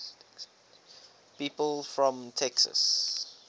people from texas